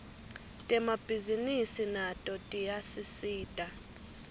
temabhisinisi nato tiyasisita